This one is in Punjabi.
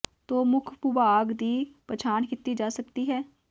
ਦੋ ਮੁੱਖ ਭੂਭਾਗ ਦੀ ਪਛਾਣ ਕੀਤੀ ਜਾ ਸਕਦੀ ਹੈ